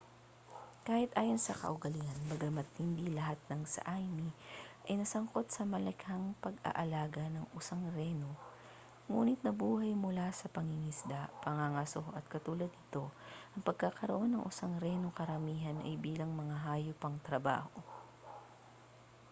kahit ayon sa kaugalian bagama't hindi lahat ng sã¡mi ay nasangkot sa malakihang pag-aalaga ng usang reno ngunit nabuhay mula sa pangingisda pangangaso at katulad nito ang pagkaroon ng usang reno karamihan ay bilang mga hayop pangtrabaho